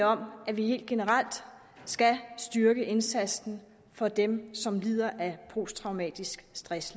om at vi helt generelt skal styrke indsatsen for dem som lider af posttraumatisk stress